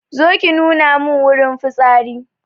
Zo ki nuna mun wurin fitsari